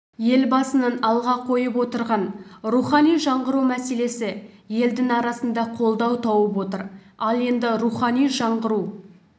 елбасының алға қойып отырған рухани жаңғыру мәселесі елдің арасында қолдау тауып отыр ал енді рухани жаңғыру